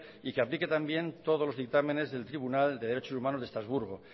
y que aplique también todos los dictámenes del tribunal de derechos humanos de estrasburgo